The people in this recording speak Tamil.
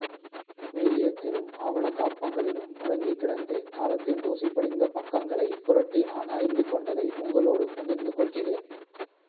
ம்யூசியத்திலும் ஆவணக்காப்பங்களிலும் முடங்கிக் கிடந்து காலத்தின் தூசிபடிந்த பக்கங்களைப் புரட்டி நான் அறிந்து கொண்டதை உங்களோடு பகிர்ந்து கொள்கிறேன்